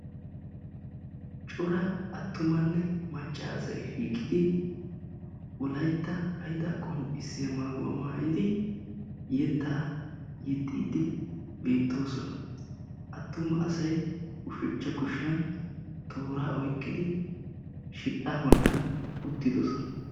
Cora attumanne macca asay shiiqidi wolaytta hayidaa qonccissiya maayuwa maayidi yettaa yexxiiddi beettoosona. Attuma asay ushachcha kushiyan tooraa oyiqqidi shidhdhaa bollan uttidosona.